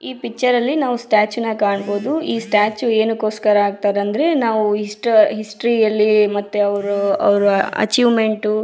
ಈ ಪಿಕ್ಚರ್ ಅಲ್ಲಿ ನಾವು ಸ್ಟ್ಯಾಚು ನ ಕಾಣಬಹುದು ಈ ಸ್ಟ್ಯಾಚು ಏನಕ್ಕೋಸ್ಕರ ಹಾಕ್ತಾರೆ ಅಂದ್ರೆ ನಾವು ಹಿಸ್ಟ ಹಿಸ್ಟರಿ ಅಲ್ಲಿ ಮತ್ತೆ ಅವ್ರು ಅವ್ರು ಅಚೀವ್ಮೆಂಟು --